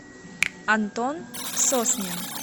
антон соснин